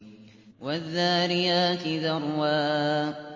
وَالذَّارِيَاتِ ذَرْوًا